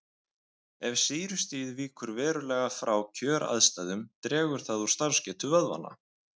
Ef sýrustigið víkur verulega frá kjöraðstæðum dregur það úr starfsgetu vöðvanna.